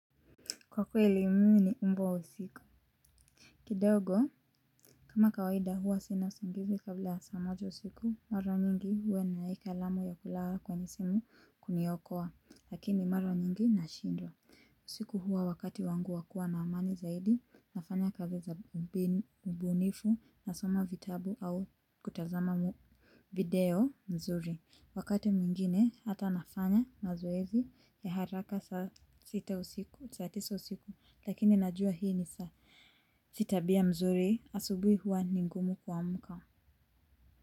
Kwa kweli mimi ni umbwa wa usiku. Kidogo, kama kawaida huwa sina usingizi kabla ya saq moja usiku, mara nyingi huwa nimeweka alamu ya kulala kwenye simu kuniokoa, lakini mara mingi nashindwa. Usiku huwa wakati wangu wa kua na amani zaidi, nafanya kazi za ubunifu nasoma vitabu au kutazama video mzuri. Wakati mwingine hata nafanya mazoezi ya haraka saa sita usiku, saa tisa usiku, lakini najua hii ni si tabia mzuri asubui huwa ni ngumu kuamka.